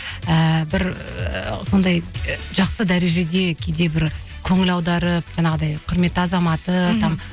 ііі бір ы сондай жақсы дәрежеде кейде бір көңіл аударып жаңағыдай құрметті азаматы там